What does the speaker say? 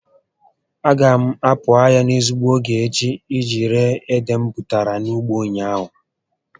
A ga m a pụ ahịa n'ezigbo ógè echi iji ree ede m bụtara na ugbo ụnyaahụ